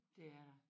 Det er der